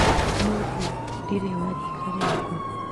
Mũriũ ndirĩ wa rika rĩakũ